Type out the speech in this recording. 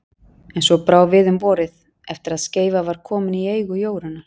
En svo brá við um vorið, eftir að Skeifa var komin í eigu Jórunnar